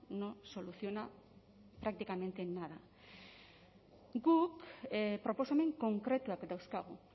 no soluciona prácticamente nada guk proposamen konkretuak dauzkagu